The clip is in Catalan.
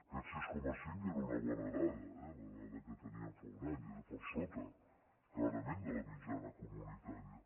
aquest sis coma cinc era una bona dada eh la dada que teníem fa un any era per sota clarament de la mitjana comunitària